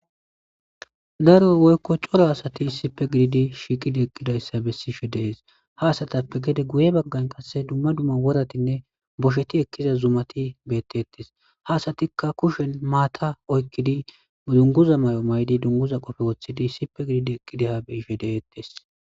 Daro woykko cora asati issippe gididi shiiqidi eqqidayssa bessishe dees ha asatappe gede guye baggan qasse dumma dumma woratinne boshsheti ekkiza zumati bettettes haasatikka kushen maata oykkidi dunguza may'o maydi dunguza qoofe woththidi issippe gididi eqqidi ha be'ishe de'ettes